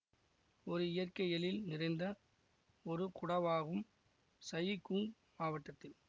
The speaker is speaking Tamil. ஒரு இயற்கை எழில் நிறைந்த ஒரு குடாவாகும் சயி குங் மாவட்டத்தில்